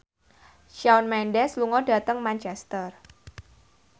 Shawn Mendes lunga dhateng Manchester